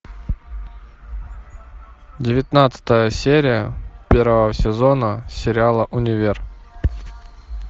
девятнадцатая серия первого сезона сериала универ